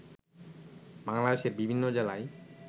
বাংলাদেশের বিভিন্ন জেলায়